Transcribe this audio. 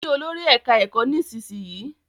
Kí Olórí ẹka ẹkọ nísìsiyìí!